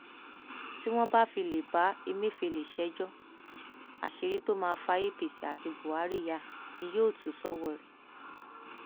tí wọn bá fi lè bá ẹmẹfẹlẹ ṣẹjọ àṣírí tó máa fa apc àti buhari yá ni yóò túṣọwọrẹ